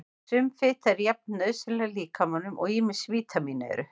Sum fita er jafn nauðsynleg líkamanum og ýmis vítamín eru.